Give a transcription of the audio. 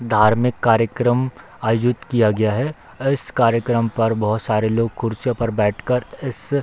धार्मिक कार्यक्रम आयोजित किया गया है। इस कार्यक्रम पर बहुत सारे लोग कुर्सियों पर बैठ कर इस --